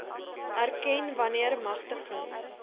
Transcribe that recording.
erken wanneer magtiging